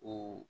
O